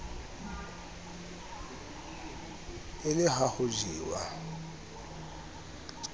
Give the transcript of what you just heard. e le ha ho jewa